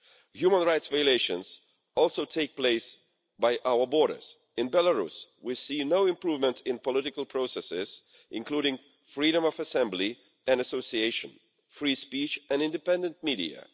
Human rights violations also take place by our borders in Belarus, we see no improvement in political processes, including freedom of assembly and association, free speech, and independent media.